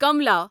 Kamla